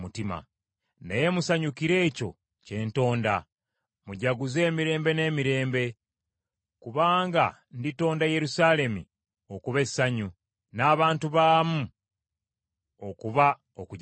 Naye musanyukire ekyo kye ntonda mujaguze emirembe n’emirembe, kubanga nditonda Yerusaalemi okuba essanyu n’abantu baamu okuba okujaguza.